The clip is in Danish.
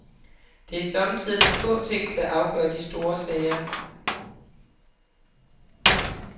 Det er somme tider de små ting, der afgør de store sager.